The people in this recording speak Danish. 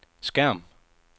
skærm